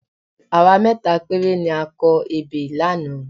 Àwa mẹ́ta péré ni a kọ ebè lánàá